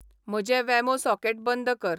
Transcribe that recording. म्हजें वेमो सॉकेट बंद कर